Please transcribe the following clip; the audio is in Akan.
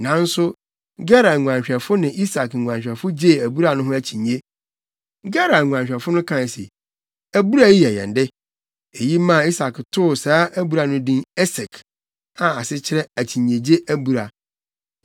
Nanso Gerar nguanhwɛfo ne Isak nguanhwɛfo gyee abura no ho akyinnye. Gerar nguanhwɛfo no kae se, “Abura yi yɛ yɛn de.” Eyi maa Isak too saa abura no din Esek, a ase kyerɛ akyinnyegye abura.